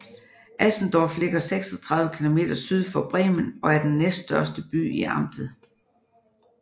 Asendorf ligger 36 km syd for Bremen og er den næststørste by i amtet